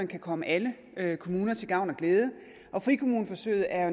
kan komme alle alle kommuner til gavn og glæde og frikommuneforsøgene er